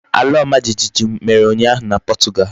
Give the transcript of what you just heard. Ala omajijiji mere unyahu na Portugal.